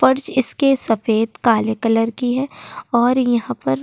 फर्श इसके सफ़ेद काले कलर की है और यहाँ पर --